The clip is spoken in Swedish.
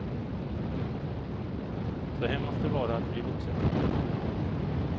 Så här måste det vara att bli vuxen.